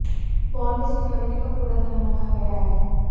phone में security का पूरा ध्यान रखा गया है